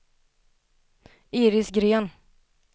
Iris Gren